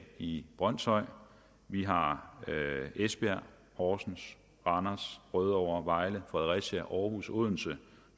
i brønshøj vi har esbjerg horsens randers rødovre vejle fredericia aarhus odense